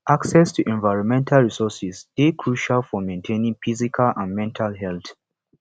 access to environmental resourses dey crucial for maintaining physical and mental health